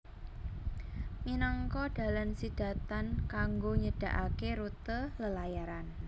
Minangka dalan sidhatan kangggo nyedhakaké rute lelayaran